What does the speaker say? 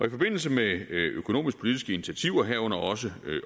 i forbindelse med økonomisk politiske initiativer herunder også